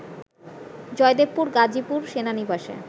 জয়দেবপুর গাজীপুর সেনানিবাসে